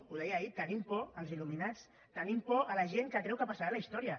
ho deia ahir tenim por dels il·luminats tenim por de la gent que creu que passarà a la història